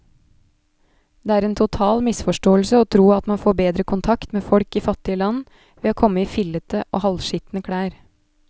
Det er en total misforståelse å tro at man får bedre kontakt med folk i fattige land ved komme i fillete og halvskitne klær.